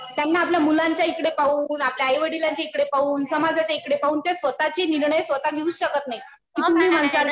त्यांना आपल्या मुलांच्या इकडे पाहून, आपल्या आईवडिलांच्या इकडे पाहून, समाजाच्या इकडे पाहून त्या स्वतःचे निर्णय स्वतः घेऊच शकत नाही. तुम्ही म्हणताल